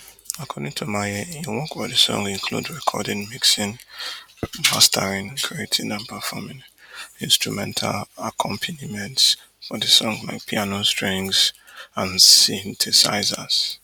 according to maye im work for di song include recording mixing mastering creating and performing instrumental accompaniments for di song like piano strings and synthesisers